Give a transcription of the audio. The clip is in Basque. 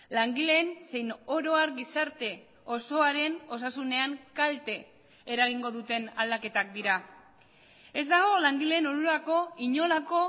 langileen zein oro har gizarte osoaren osasunean kalte eragingo duten aldaketak dira ez dago langileen onurako inolako